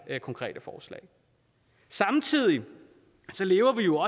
konkrete forslag samtidig lever vi jo